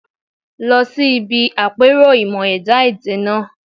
Lọ sí ibi àpérò ìmọ̀-ẹ̀dá èdè náà